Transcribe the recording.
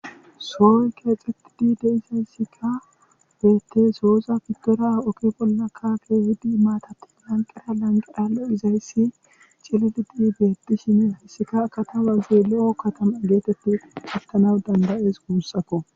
Sohoy keexxetidi de'izayssikka beetees. sohoza gidora oge bollara keehidi maatati lanqera lanqera loizayssi cililidi beetishin hayssika katamazi lo'o katama geeteti xeegetanawu danda'ees guussako.